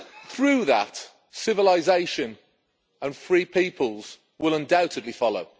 Through that, civilisation and free peoples will undoubtedly follow.